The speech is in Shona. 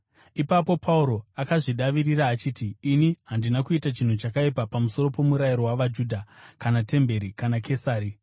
Ipapo Pauro akazvidavirira achiti, “Ini handina kuita chinhu chakaipa pamusoro pomurayiro wavaJudha kana temberi kana Kesari.”